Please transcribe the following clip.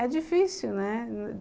É difícil, né?